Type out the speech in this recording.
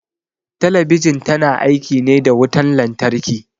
Talabijin ta na aiki ne da wutan lantarki